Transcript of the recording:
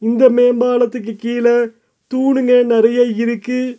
இந்த மேம்பாலத்துக்கு கீழே தூணுங்க நறைய இருக்கு.